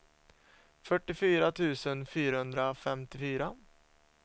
fyrtiofyra tusen fyrahundrafemtiofyra